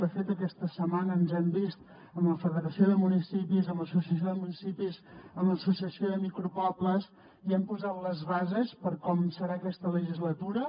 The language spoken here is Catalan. de fet aquesta setmana ens hem vist amb la federació de municipis amb l’associació de municipis amb l’associació de micropobles i hem posat les bases per com serà aquesta legislatura